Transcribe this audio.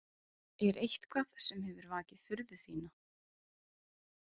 Er eitthvað sem hefur vakið furðu þína?